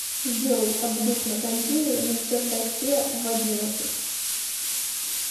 сделай обдув на кондее на чердаке в одиннадцать